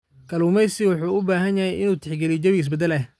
Kalluumeysigu wuxuu u baahan yahay inuu tixgeliyo jawiga isbeddelaya.